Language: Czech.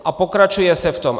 A pokračuje se v tom.